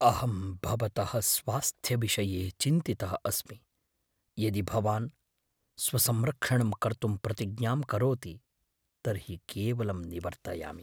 अहं भवतः स्वास्थ्यविषये चिन्तितः अस्मि, यदि भवान् स्वसंरक्षणं कर्तुम् प्रतिज्ञां करोति तर्हि केवलं निवर्तयामि।